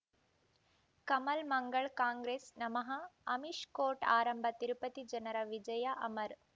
ಕಮಲ್ ಮಂಗಳ್ ಕಾಂಗ್ರೆಸ್ ನಮಃ ಅಮಿಷ್ ಕೋರ್ಟ್ ಆರಂಭ ತಿರುಪತಿ ಜನರ ವಿಜಯ ಅಮರ್